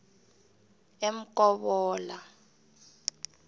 emkobola